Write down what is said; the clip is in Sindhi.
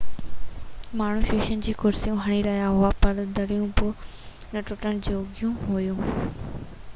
ماڻهو شيشن کي ڪرسيون هڻي رهيا هئا پر دريون نہ ٽٽڻ جوڳيون هئيون